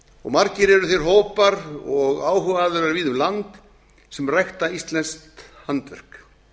og margir eru þeir hópar og áhugaaðilar víða um land sem rækta íslenskt handverk